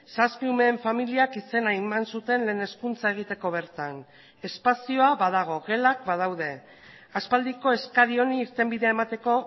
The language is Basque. zazpi umeen familiak izena eman zuten lehen hezkuntza egiteko bertan espazioa badago gelak badaude aspaldiko eskari honi irtenbidea emateko